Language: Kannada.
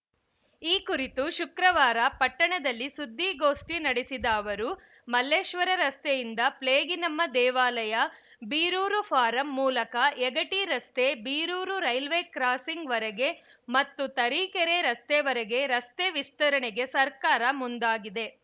ಈ ಕುರಿತು ಶುಕ್ರವಾರ ಪಟ್ಟಣದಲ್ಲಿ ಸುದ್ದಿಗೋಷ್ಟಿನಡೆಸಿದ ಅವರು ಮಲ್ಲೇಶ್ವರ ರಸ್ತೆಯಿಂದ ಪ್ಲೇಗಿನಮ್ಮ ದೇವಾಲಯ ಬೀರೂರು ಫಾರಂ ಮೂಲಕ ಯಗಟಿ ರಸ್ತೆ ಬೀರೂರು ರೈಲ್ವೆ ಕ್ರಾಸಿಂಗ್‌ವರೆಗೆ ಮತ್ತು ತರೀಕೆರೆ ರಸ್ತೆವರೆಗೆ ರಸ್ತೆ ವಿಸ್ತರಣೆಗೆ ಸರ್ಕಾರ ಮುಂದಾಗಿದೆ